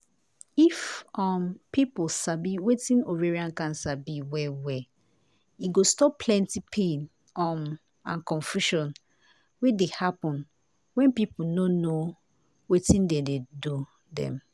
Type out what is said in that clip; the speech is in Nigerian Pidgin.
if um pipo sabi wetin ovarian cancer be well well e go stop plenty pain um and confusion wey dey happun wen pipo no no wetin dey do dem.